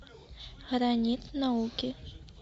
гранит науки